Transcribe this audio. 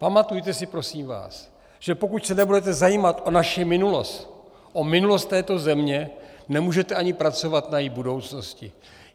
Pamatujte si, prosím vás, že pokud se nebudete zajímat o naši minulost, o minulost této země, nemůžete ani pracovat na její budoucnosti.